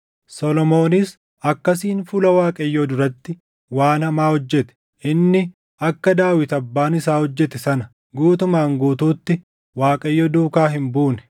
Solomoonis akkasiin fuula Waaqayyoo duratti waan hamaa hojjete; inni akka Daawit abbaan isaa hojjete sana guutumaan guutuutti Waaqayyo duukaa hin buune.